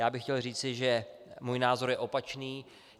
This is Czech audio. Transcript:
Já bych chtěl říci, že můj názor je opačný.